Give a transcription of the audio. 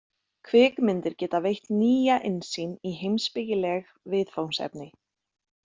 Kvikmyndir geta veitt nýja innsýn í heimspekileg viðfangsefni.